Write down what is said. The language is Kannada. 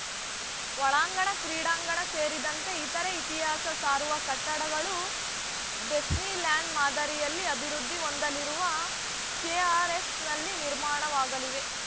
ಒಳಾಂಗಣ ಕ್ರೀಡಾಂಗಣ ಸೇರಿದಂತೆ ಇತರೆ ಇತಿಹಾಸ ಸಾರುವ ಕಟ್ಟಡಗಳು ಡೆಸ್ನಿ ಲ್ಯಾಂಡ್‌ ಮಾದರಿಯಲ್ಲಿ ಅಭಿವೃದ್ಧಿ ಹೊಂದಲಿರುವ ಕೆಆರ್‌ಎಸ್‌ನಲ್ಲಿ ನಿರ್ಮಾಣವಾಗಲಿವೆ